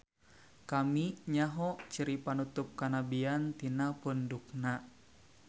Kami nyaho ciri panutup kanabian tina pundukna.